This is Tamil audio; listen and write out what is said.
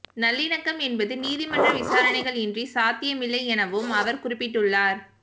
நல்லிணக்கம் என்பது நீதிமன்ற விசாரணைகள் இன்றி சாத்தியமில்லை எனவும் அவர் குறிப்பிட்டுள்ளார்